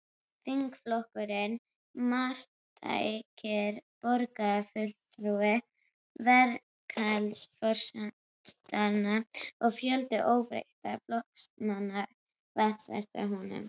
Þingflokkurinn, marktækir borgarfulltrúar, verkalýðsforystan og fjöldi óbreyttra flokksmanna vantreystu honum.